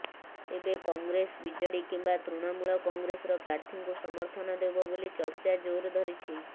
ତେବେ କଂଗ୍ରେସ ବିଜେଡି କିମ୍ବା ତୃଣମୂଳ କଂଗ୍ରେସର ପ୍ରାର୍ଥୀଙ୍କୁ ସମର୍ଥନ ଦେବ ବୋଲି ଚର୍ଚ୍ଚା ଜୋର ଧରିଛି